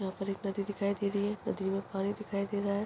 यहाँ पर एक नदी दिखाई दे रही है नदी में पानी दिखाई दे रहा है।